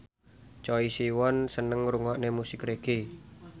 Choi Siwon seneng ngrungokne musik reggae